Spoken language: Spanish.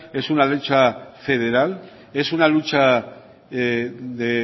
es una lucha federal es una lucha de